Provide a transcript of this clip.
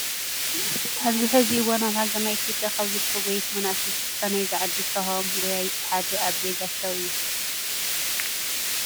ኣብዚ ሕዚ እዋን ኣብ ሃገርና ኢትዮጵያ ካብ ዝርከቡ ጎየይቲ መናእሰያት ተስፋ ናይዚ ዓዲ ዝተውሃቦምን ጎያያይ እቲ ሓደ ኣቤ ጋሻው እዩ።